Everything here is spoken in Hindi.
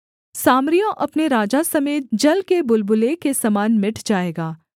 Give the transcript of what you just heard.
सामरिया अपने राजा समेत जल के बुलबुले के समान मिट जाएगा